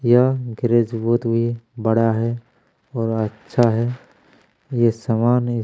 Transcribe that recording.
यह गेराज बहुत ही बड़ा है और अच्छा है ये समान--